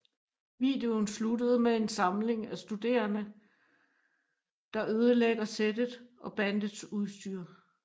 Videoen sluttede med en samling af studerene der ødelægger settet og bandets udstyr